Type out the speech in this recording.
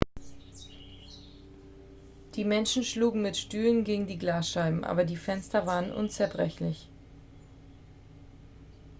die menschen schlugen mit stühlen gegen die glasscheiben aber die fenster waren unzerbrechlich